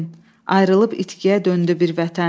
Ayrılıb itkiyə döndü bir vətən.